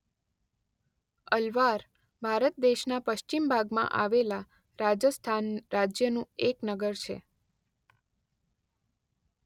અલવાર ભારત દેશના પશ્ચિમ ભાગમાં આવેલા રાજસ્થાન રાજ્યનું એક નગર છે.